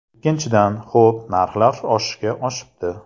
Ikkinchidan, ho‘p, narxlar oshishga oshibdi.